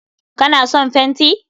Ka na son fenti?